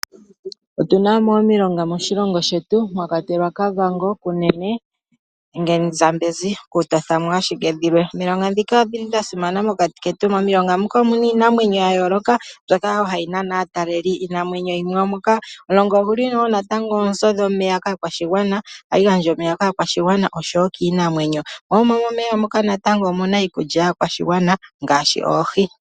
Otu na mo omilonga moshilongo shetu mwa kwatelwa Kavango, Kunene nenge Zambezi, okutotha mo ashike dhilwe. Omilonga ndhika odhili dha simana mokati ketu. Momilonga muka omu na iinamwenyo yayooloka, mbyoka wo hayi nana aataleli. Omulonga ogu li wo natango oonzo dhomeya kaakwashigwana, ohagu gandja omeya kaakwashigwana oshowo kiinamwenyo. Mo momeya muka natango omu na iikulya yaakwashigwana ngaashi oohi.